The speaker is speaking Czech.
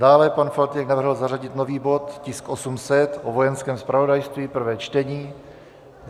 Dále pan Faltýnek navrhl zařadit nový bod, tisk 800, o Vojenském zpravodajství, prvé čtení.